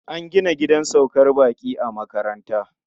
An gina gidan saukar baƙi a makaranta.